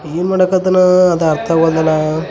ಏನ್ ಮಾಡಕ್ ಹತ್ತನೇ ಅದು ಅರ್ತವಾಗಲ್ದು ಅಲ್ಲಾ .